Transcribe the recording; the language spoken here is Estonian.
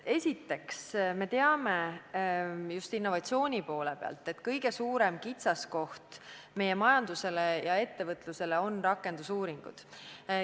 Esiteks, me teame just innovatsiooni poole pealt, et kõige suurem kitsaskoht meie majanduse ja ettevõtluse seisukohast on rakendusuuringud.